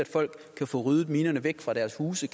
folk kan få ryddet minerne væk fra deres huse